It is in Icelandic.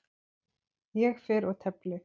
Ég fer og tefli!